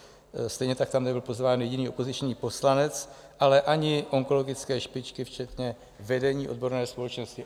Stejně tak tam nebyl pozván jediný opoziční poslanec, ale ani onkologické špičky včetně vedení odborné společnosti.